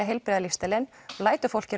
heilbrigða lífsstílinn lætur fólk